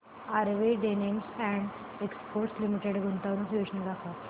RV denims and exports limited गुंतवणूक योजना दाखव